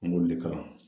N b'oli kalan